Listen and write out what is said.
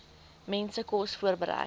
mense kos voorberei